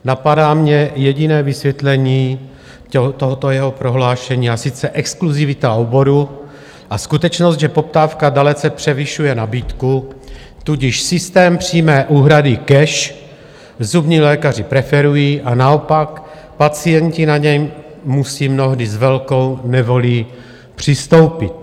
Napadá mě jediné vysvětlení tohoto jeho prohlášení, a sice exkluzivita oboru a skutečnost, že poptávka dalece převyšuje nabídku, tudíž systém přímé úhrady cash zubní lékaři preferují a naopak pacienti na něj musí mnohdy s velkou nevolí přistoupit.